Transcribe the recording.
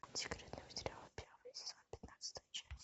секретные материалы первый сезон пятнадцатая часть